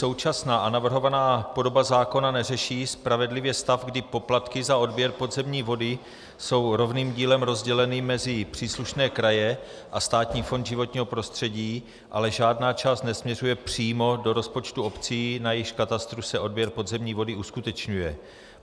Současná a navrhovaná podoba zákona neřeší spravedlivě stav, kdy poplatky za odběr podzemní vody jsou rovným dílem rozděleny mezi příslušné kraje a Státní fond životního prostředí, ale žádná část nesměřuje přímo do rozpočtu obcí, na jejichž katastru se odběr podzemní vody uskutečňuje.